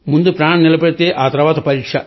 ముందు ప్రాణం నిలబడితే ఆతర్వాత పరీక్ష